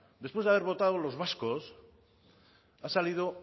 después de haber votado los vascos ha salido